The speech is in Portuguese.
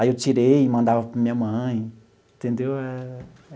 Aí eu tirei e mandava para a minha mãe, entendeu?